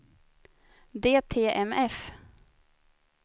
DTMF